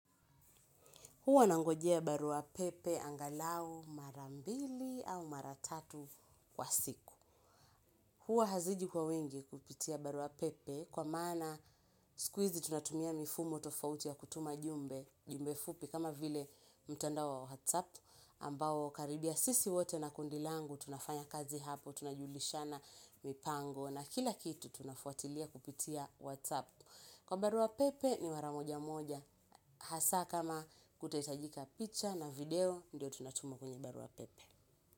Huwa nangojea barua pepe angalau mara mbili au mara tatu kwa siku. Huwa haziji kwa wingi kupitia barua pepe kwa maana siku hizi tunatumia mifumo tofauti ya kutuma jumbe, jumbe fupi kama vile mtandao wa WhatsApp ambao karibia sisi wote na kundi langu tunafanya kazi hapo, tunajulishana mipango na kila kitu tunafuatilia kupitia WhatsApp. Kwa barua pepe ni mara moja moja, hasaa kama kutahitajika picha na video, ndio tunatuma kwenye barua pepe.